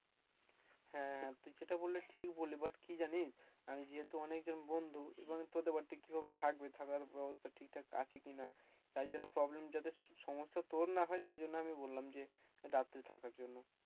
হ্যাঁ, হ্যাঁ তুই যেটা বললি ঠিক বললি but কি জানিস আমার যেহেতু অনেকজন বন্ধু এবং তোদের বাড়িতে কিভাবে থাকবে থাকার ব্যবস্থা ঠিকঠাক আছে কিনা তাই জন্য problem যাতে সমস্যা তোর না হয় তাই জন্য আমি বললাম যে রাত্রে থাকার জন্য।